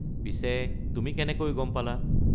পিছে, তুমি কেনেকৈ গম পালা?